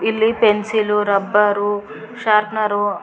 ಇಲ್ಲಿ pencil rubber sharpener --